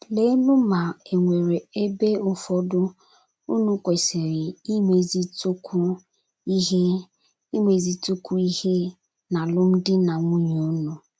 Leenụ ma è nwere ebe ụfọdụ unu kwesịrị imezitụkwu ihe imezitụkwu ihe n’alụmdi na nwunye unu.